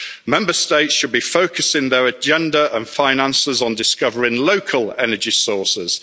Member States should be focusing their agenda and finances on discovering local energy sources.